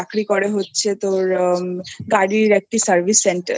চাকরি করে হচ্ছে তোর গাড়ির একটি Service Center